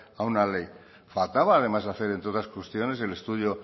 a una ley faltaba además de hacer entre otras cuestiones el estudio